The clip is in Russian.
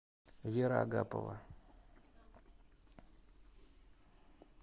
вера агапова